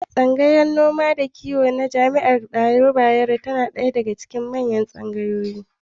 Tsangayar noma da kiwo ta jami'ar Bayero na ɗaya daga cikin manyan tsangayoyi.